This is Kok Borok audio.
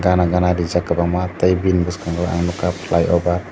gana gana rijak kwbangma tei bini bwskango ang nukha flyover.